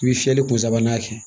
I bɛ fiyɛli kun sabanan kɛ